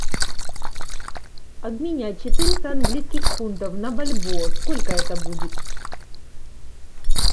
обменять четыреста английских фунтов на бальбоа сколько это будет